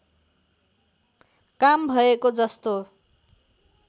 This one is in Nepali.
काम भएको जस्तो